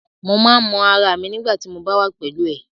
Mo máa n mọ ará mi nigbati mo ba wà pẹlú ẹ.